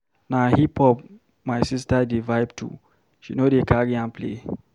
Na hip-hop my sista dey vibe to, she no dey carry am play.